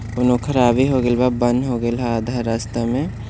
ख़राब हो गइल बा बंद हो गइल बा आधा रास्ता में--